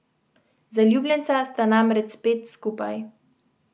Zaljubljenca sta namreč spet skupaj.